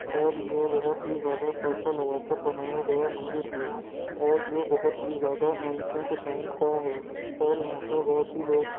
और ये बहुत ही ज्यादा पैसा लगा कर बनाया गया मंदिर है और ये बहुत ही ज्यादा ऐन्सियनट टाइम का है और यहाँ पर बहुत ही लोग--